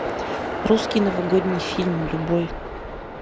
русский новогодний фильм любой